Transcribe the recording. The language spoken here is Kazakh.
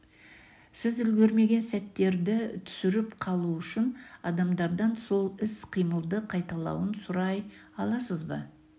сіз үлгермеген сәттерді түсіріп қалу үшін адамдардан сол іс-қимылды қайталауын сұрай аласыз ба